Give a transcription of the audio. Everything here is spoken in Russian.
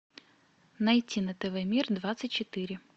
найти на тв мир двадцать четыре